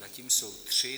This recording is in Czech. Zatím jsou tři.